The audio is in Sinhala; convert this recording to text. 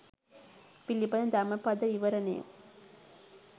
පිළිබඳ ධම්ම පද විවරණය